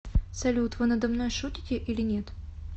салют вы надо мной шутите или нет